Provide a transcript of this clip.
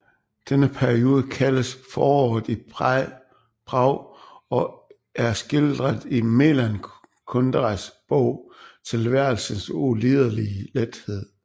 Denne periode kaldes Foråret i Prag og er skildret i Milan Kunderas bog Tilværelsens ulidelige lethed